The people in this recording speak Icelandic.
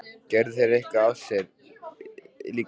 Gerðu þeir eitthvað af sér hjá ykkur líka?